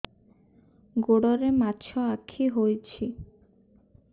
ଗୋଡ଼ରେ ମାଛଆଖି ହୋଇଛି